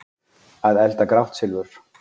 Að elda grátt silfur